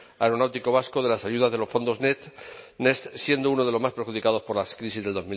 aeronáutico vasco de las ayudas de los fondos next siendo uno de los más perjudicados por las crisis